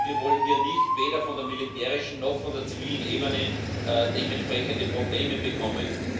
Wir wollen hier weder von der militärischen noch von der zivilen Ebene dementsprechende Probleme bekommen.